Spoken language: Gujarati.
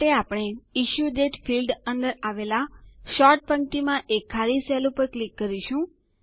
આ માટે આપણે ઇશ્યુડેટ ફીલ્ડ અંદર આવેલ સોર્ટ પંક્તિમાં એક ખાલી સેલ ઉપર ક્લિક કરીશું